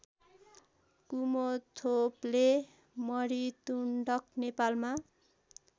कुमथोप्ले मणितुण्डक नेपालमा